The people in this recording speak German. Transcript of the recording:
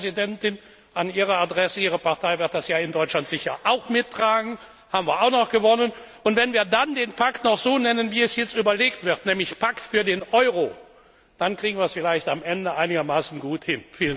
Frau Präsidentin, an Ihre Adresse, Ihre Partei wird das ja in Deutschland sicher auch mittragen, da haben wir auch noch gewonnen, und wenn wir dann den Pakt noch so nennen, wie jetzt erwogen wird, nämlich Pakt für den Euro, dann kriegen wir es vielleicht am Ende einigermaßen gut hin.